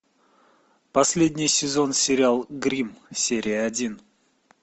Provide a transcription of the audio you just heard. последний сезон сериал гримм серия один